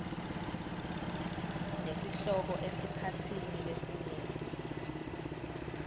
nesihloko esikhatsini lesinyenti